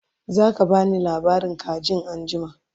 zaka bani labarin kajin anjima?